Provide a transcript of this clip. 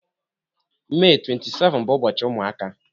Mee 27 bụ ụbọchị ụmụaka